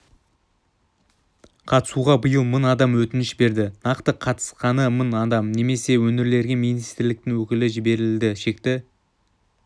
қатысуға биыл мың адам өтініш берді нақты қатысқаны мың адам немесе өңірлерге министрліктің өкілі жіберілді шекті